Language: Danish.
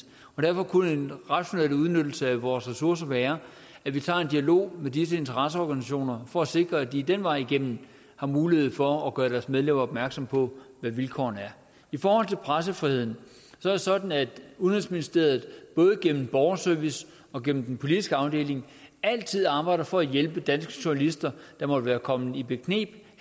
derfor kunne en rationel udnyttelse af vores ressourcer være at vi tager en dialog med disse interesseorganisationer for at sikre at de den vej igennem har mulighed for at gøre deres medlemmer opmærksomme på hvad vilkårene er i forhold til pressefriheden er det sådan at udenrigsministeriet både gennem borgerservice og gennem den politiske afdeling altid arbejder for at hjælpe danske journalister der måtte være kommet i bekneb